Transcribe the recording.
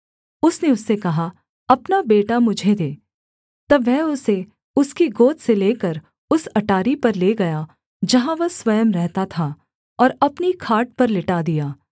उसने उससे कहा अपना बेटा मुझे दे तब वह उसे उसकी गोद से लेकर उस अटारी पर ले गया जहाँ वह स्वयं रहता था और अपनी खाट पर लिटा दिया